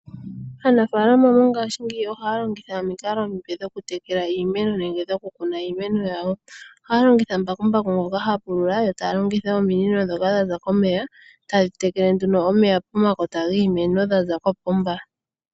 Aanafalama mongashingeyi ohaya longitha omikalo omipe dhokutekela iimeno nenge dhokukuna iimeno yawo. Ohaya longitha mbakumbaku ngoka hapulula yo taya longitha ominino ndhoka dhaza komeya, tadhi tekele nduno omeya pomakota giimeno dhaza kopomba.